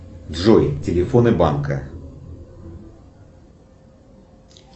джой телефоны банка